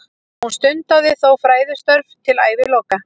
Hún stundaði þó fræðistörf til æviloka.